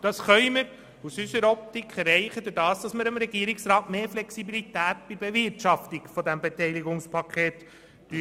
Unseres Erachtens können wir das erreichen, indem wir dem Regierungsrat mehr Flexibilität bei der Bewirtschaftung des Beteiligungspakets geben.